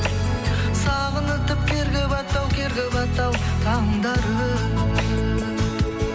сағынытып керге батты ау керге батты ау таңдарым